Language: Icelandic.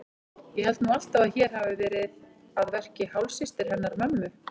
Ég held nú alltaf að hér hafi verið að verki hálfsystir hennar mömmu.